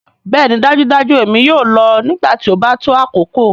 Bẹẹni dajudaju èmi yoo lọ nigbati o ba to akoko.